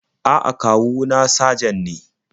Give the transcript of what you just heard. A'a, kawu na sajan ne.